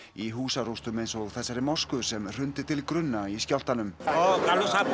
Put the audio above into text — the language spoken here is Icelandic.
í húsarústum eins og í þessari mosku sem hrundi til grunna í skjálftanum